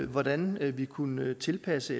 hvordan vi kunne tilpasse